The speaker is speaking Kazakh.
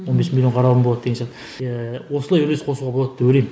он бес миллион қаралым болады деген сияқты иә осылай үлес қосуға болады деп ойлаймын